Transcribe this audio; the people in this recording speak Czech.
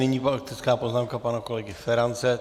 Nyní faktická poznámka pana kolegy Ferance.